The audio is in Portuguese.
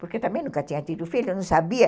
Porque também nunca tinha tido filho, eu não sabia.